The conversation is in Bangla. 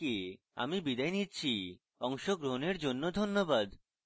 আই আই টী বোম্বে থেকে আমি বিদায় নিচ্ছি অংশগ্রহণের জন্য ধন্যবাদ